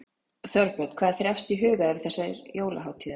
Þorbjörn: Hvað er þér efst í huga yfir þessar jólahátíðar?